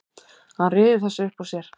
Hann ryður þessu upp úr sér.